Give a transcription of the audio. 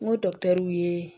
N ko ye